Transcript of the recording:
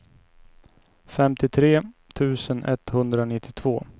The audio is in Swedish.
femtiotre tusen etthundranittiotvå